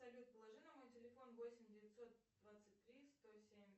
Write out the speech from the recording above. салют положи на мой телефон восемь девятьсот двадцать три сто семь